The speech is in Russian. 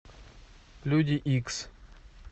люди икс